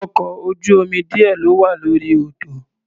Ọkọ̀ ojú-omi díẹ̀ ló wà lórí odò.